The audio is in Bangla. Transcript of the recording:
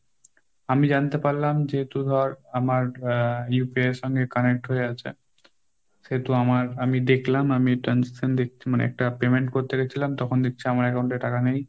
আমি জানতে পারলাম যেহেতু ধর আমার আহ UPI এর সঙ্গে connect হয়ে আছে, সেহেতু আমার আমি দেখলাম আমি transaction মানে একটা payment করতে গেছিলাম তখন দেখছি আমার account এ টাকা নেই।